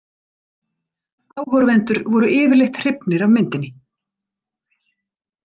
Áhorfendur voru yfirleitt hrifnir af myndinni.